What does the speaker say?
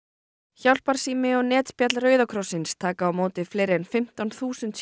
hjálparsími og netspjall Rauða krossins taka á móti fleiri en fimmtán þúsund